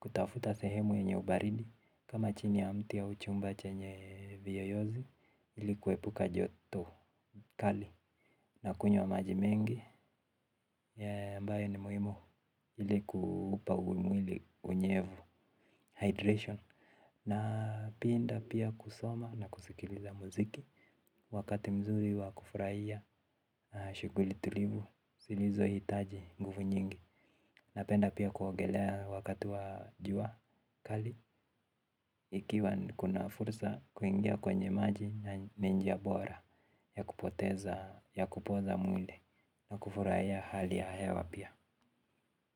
kutafuta sehemu yenye ubaridi ama chini ya mti au chumba chenye viyoyozi hili kuepuka joto kali na kunywa maji mengi ambayo ni muhimu hili kuupa mwili unyevu hydration. Na napenda pia kusoma na kusikiliza muziki. Wakati mzuri wa kufurahia shughuli tulivu zilizo hitaji nguvu nyingi. Napenda pia kuogelea wakati wa jua kali. Ikiwa kuna fursa kuingia kwenye maji ni njia bora ya kupoteza ya kupoza mwili. Na kufurahia hali ya hewa pia.